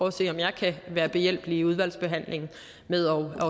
at se om jeg kan være behjælpelig i udvalgsbehandlingen med at